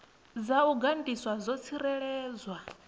dza u gandiswa dzo tsireledzwa